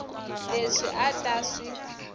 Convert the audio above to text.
leswi a a ta swi